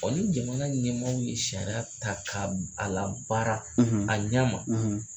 O ni jamana ɲɛmɔgɔw ye sariya ta ka a labaara a ɲɛ ma.